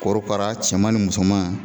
Korokara cɛman ni musoman